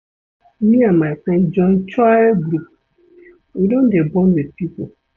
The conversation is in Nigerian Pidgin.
Me and my friends join choir group, we don dey bond wit pipo.